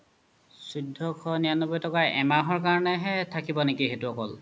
চৈধ্যশ নিৰান্নবৈ তকা এহমাহ কাৰনে হে থাকিব নেকি সেইতো অকল